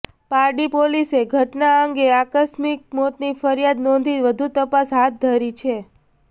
પારડી પોલીસે ઘટના અંગે આકસ્મિક મોતની ફરિયાદ નોંધી વધુ તપાસ હાથ ધરી છે